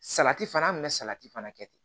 Salati fana an kun bɛ salati fana kɛ ten